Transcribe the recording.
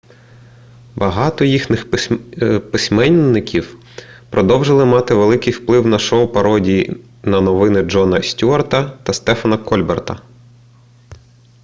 багато їхніх письменників продовжили мати великий вплив на шоу пародій на новини джона стюарта та стефана кольберта